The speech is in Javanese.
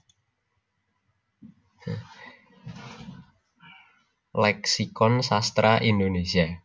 Leksikon Sastra Indonesia